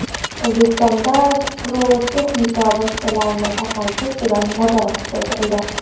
O‘zbekistonda pirotexnika vositalari tarqalishi ustidan nazorat kuchaytirildi.